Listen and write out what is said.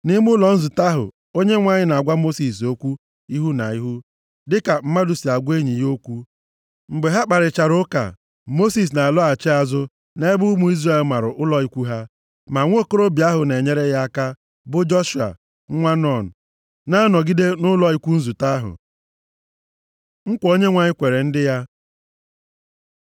Nʼime ụlọ nzute ahụ, Onyenwe anyị na-agwa Mosis okwu ihu na ihu, dịka mmadụ sị agwa enyi ya okwu. Mgbe ha kparịchara ụka, Mosis na-alọghachi azụ nʼebe ụmụ Izrel mara ụlọ ikwu ha. Ma nwokorobịa ahụ na-enyere ya aka, bụ Joshua, nwa Nun, na-anọgide nʼụlọ ikwu nzute ahụ. Nkwa Onyenwe anyị kwere ndị ya